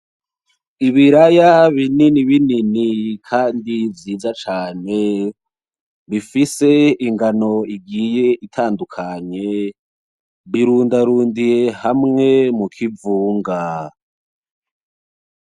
Ibiraya binini binini kandi vyiza cane, bifise ingano igiye itandukanye birundarundiye hamwe mu kivunga.